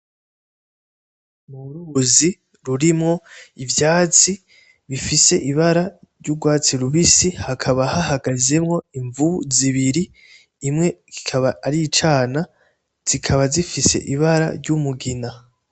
Uruzi rurimwo ivyatsi bifise ibara ry; urwatsi rubisi, hakaba hahagazemwo imvubu zibiri, imwe kikaba ari icana. Zikaba zifise ibara ry'umugina.